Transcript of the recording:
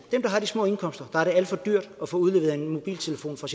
har de små indkomster er det alt for dyrt at få udleveret en mobiltelefon fra